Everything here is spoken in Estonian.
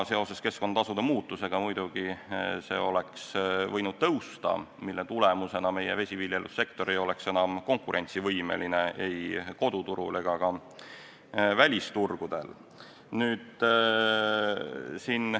Seoses keskkonnatasude muutmisega oleks see võinud muidugi tõusta, mille tulemusena meie vesiviljelussektor ei oleks enam konkurentsivõimeline ei koduturul ega ka välisturgudel.